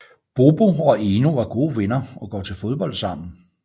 Bobo og Eno er gode venner og går til fodbold sammen